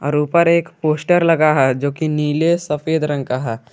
ऊपर एक पोस्टर लगा है जो कि नीले सफेद रंग का है।